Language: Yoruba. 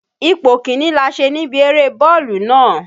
Ipò kìíní la ṣe níbi eré bọ́ọ̀lù nàá.